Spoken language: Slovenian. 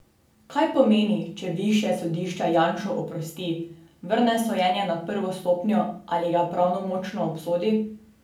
Kaj pomeni, če višje sodišče Janšo oprosti, vrne sojenje na prvo stopnjo ali ga pravnomočno obsodi?